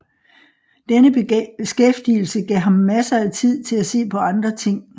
Denne beskæftigelse gav ham masser af tid til at se på andre ting